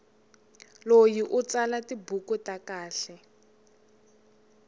loyi u tsala tibuku ta kahle